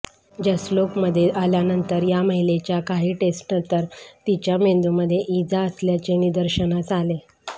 जसलोकमध्ये आल्यानंतर या महिलेच्या काही टेस्टनंतर तिच्या मेंदूमध्ये इजा असल्याचे निदर्शनास आले